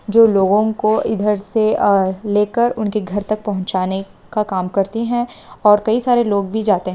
जो लोगो को इधर से लेकर उनके घर तक पहुचाने का काम करती है और कई सारे लोग भी जाते है।